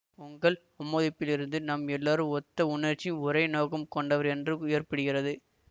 உங்கள் ஆமோதிப்பிலிருந்து நம் எல்லாரும் ஒத்த உணர்ச்சியும் ஒரே நோக்கமும் கொண்டவர் என்று ஏற்படுகிறது